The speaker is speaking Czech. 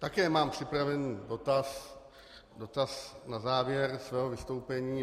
Také mám připravený dotaz na závěr svého vystoupení.